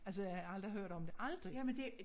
Altså jeg har aldrig hørt om det aldrig